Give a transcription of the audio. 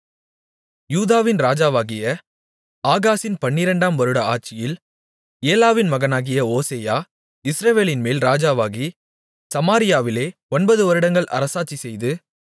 யூதாவின் ராஜாவாகிய ஆகாசின் பன்னிரண்டாம் வருட ஆட்சியில் ஏலாவின் மகனாகிய ஓசெயா இஸ்ரவேலின்மேல் ராஜாவாகி சமாரியாவிலே ஒன்பதுவருடங்கள் அரசாட்சிசெய்து